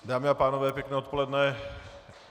Dámy a pánové, pěkné odpoledne.